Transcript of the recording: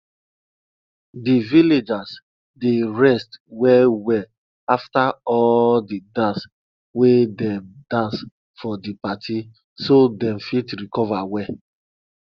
di villagers dey rest well well afta all di dance wey dem dance for di party so dem fit recover well